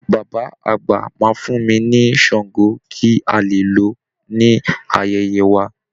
Bàbá àgbà máa fún mi ní shango kí a le lò ó ní ayẹyẹ wa